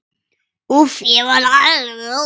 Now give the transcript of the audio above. Úff, ég verð alveg óður.